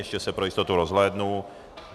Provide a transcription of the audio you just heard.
Ještě se pro jistotu rozhlédnu.